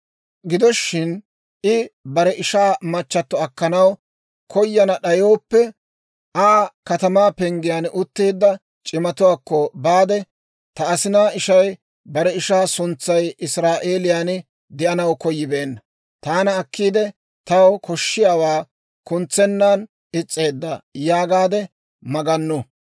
«Gido shin, I bare ishaa machchato akkanaw koyana d'ayooppe, iza katamaa penggiyaan utteedda c'imatuwaakko baade, ‹Ta asinaa ishay bare ishaa suntsay Israa'eeliyaan de'anaw koyibeenna; taana akkiide, taw koshshiyaawaa kuntsennan is's'eedda› yaagaade magannu.